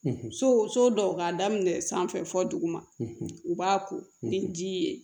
So so dɔw k'a daminɛ sanfɛ fɔ duguma u b'a ko ni ji ye